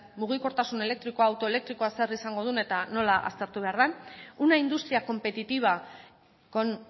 mugikortasun elektrikoa edo auto elektrikoa zer izango duen eta nola aztertu behar den una industria competitiva con